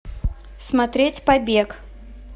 смотреть побег